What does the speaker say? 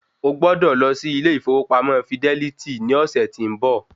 O gbọ́dọ̀ lo sí ilè ìfowópamọ́ fidẹ́lítì ní ọ̀sẹ̀ tí ń bọ̀.